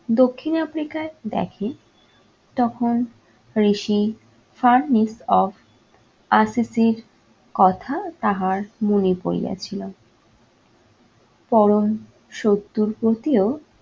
দক্ষিণ africa ই দেখে তখন ঋষি কথা তাহার মনে পড়িয়া ছিল পরম শত্রুর প্রতিও